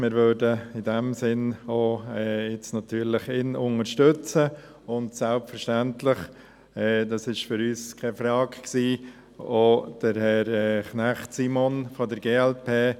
Wir würden ihn in diesem Sinn natürlich unterstützen, und selbstverständlich – das war für uns keine Frage – auch Herrn Simon Knecht von der glp.